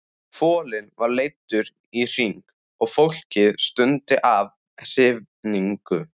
Folinn var leiddur í hring og fólkið stundi af hrifningu.